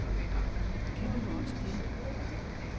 Kan man nu også det.